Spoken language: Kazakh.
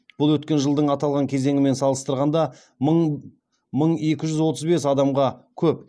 бұл өткен жылдың аталған кезеңімен салыстырғанда мың екі жүз отыз бес адамға көп